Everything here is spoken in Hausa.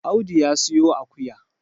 Audu ya siyo akuya